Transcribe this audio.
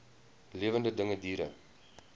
lewende dinge diere